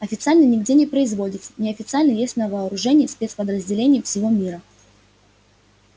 официально нигде не производится неофициально есть на вооружении спецподразделений всего мира